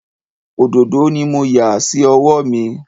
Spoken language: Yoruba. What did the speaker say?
Òdòdó ni mo yà sí ọwọ́ mi